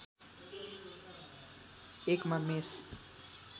एकमा मेष